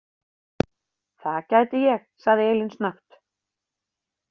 Það gæti ég, sagði Elín snöggt.